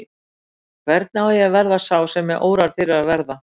Hvernig á ég að verða sá sem mig órar fyrir að vera?